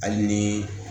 Hali ni